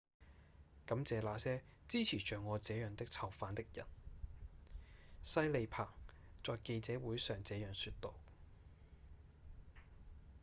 「感謝那些支持像我這樣的囚犯的人」西里彭在記者會上這樣說道